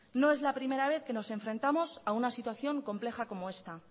no es la primera vez que nos enfrentamos a una situación compleja como esta